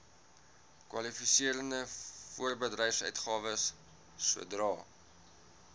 kwalifiserende voorbedryfsuitgawes sodra